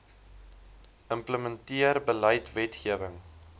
implementeer beleid wetgewing